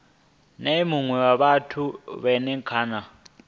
nea mune wa fhethu kana